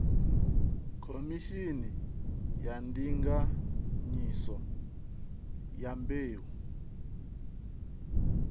khomishini ya ndinganyiso ya mbeu